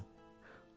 Bacarırsan.